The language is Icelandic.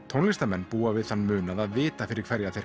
tónlistarmenn búa við þann munað að vita fyrir hverja þeir